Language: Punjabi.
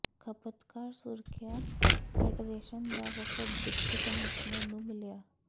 ਖਪਤਕਾਰ ਸੁਰੱਖਿਆ ਫੈਡਰੇਸ਼ਨ ਦਾ ਵਫਦ ਡਿਪਟੀ ਕਮਿਸ਼ਨਰ ਨੂੰ ਮਿਲਿਆ